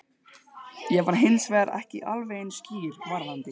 Ég var hins vegar ekki alveg eins skýr varðandi